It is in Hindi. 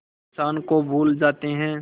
इंसान को भूल जाते हैं